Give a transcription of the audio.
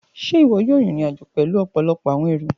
Ṣe iwọ yoo rin irin-ajo pẹlu ọpọlọpọ awọn ẹru?